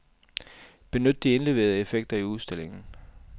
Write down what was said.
Benyt de indleverede effekter i udstillingen.